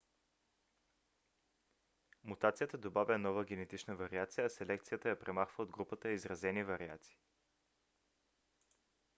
мутацията добавя нова генетична вариация а селекцията я премахва от групата изразени вариации